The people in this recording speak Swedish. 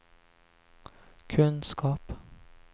kunskap